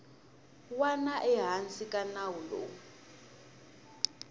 wana ehansi ka nawu lowu